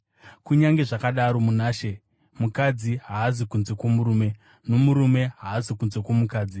Kunyange zvakadaro, muna She mukadzi haazi kunze kwomurume, nomurume haazi kunze kwomukadzi.